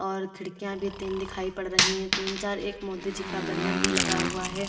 और खिड़कियां भी तीन दिखाई पड़ रही है तीन चार एक मोदी जी का बैनर भी लगा हुआ है।